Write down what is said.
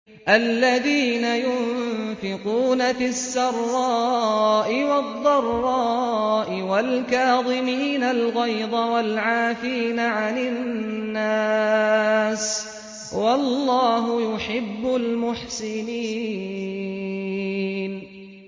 الَّذِينَ يُنفِقُونَ فِي السَّرَّاءِ وَالضَّرَّاءِ وَالْكَاظِمِينَ الْغَيْظَ وَالْعَافِينَ عَنِ النَّاسِ ۗ وَاللَّهُ يُحِبُّ الْمُحْسِنِينَ